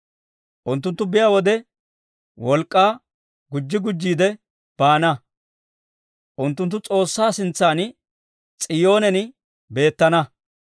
Unttunttu biyaa wode, wolk'k'aa gujji gujjiide baana. Unttunttu S'oossaa sintsan S'iyoonen beettana.